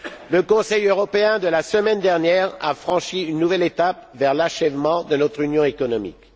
Le Conseil européen de la semaine dernière a franchi une nouvelle étape vers l'achèvement de notre union économique.